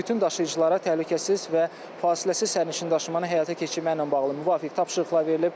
Bütün daşıyıcılara təhlükəsiz və fasiləsiz sərnişin daşımanı həyata keçirməklə bağlı müvafiq tapşırıqlar verilib.